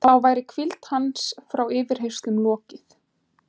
Þá væri hvíld hans frá yfirheyrslunum lokið.